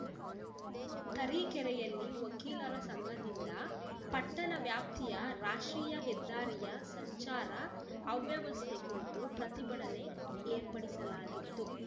ತರೀಕೆರೆಯಲ್ಲಿ ವಕೀಲರ ಸಂಘದಿಂದ ಪಟ್ಟಣ ವ್ಯಾಪ್ತಿಯ ರಾಷ್ಟ್ರೀಯ ಹೆದ್ದಾರಿಯ ಸಂಚಾರ ಅವ್ಯವಸ್ಥೆ ಕುರಿತು ಪ್ರತಿಭಟನೆ ಏರ್ಪಡಿಸಲಾಗಿತ್ತು